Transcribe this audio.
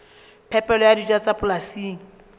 phepelo ya dijo tsa polasing